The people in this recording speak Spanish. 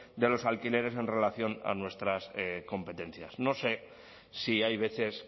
de los alquileres en relación a nuestras competencias no sé si hay veces